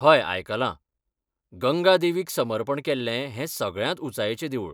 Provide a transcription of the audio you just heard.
हय, आयकलां. गंगा देवीक समर्पण केल्लें हें सगळ्यांत ऊंचायेचें देवूळ.